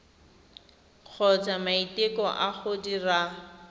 kgotsa maiteko a go dira